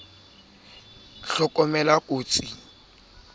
ya diflete le c ho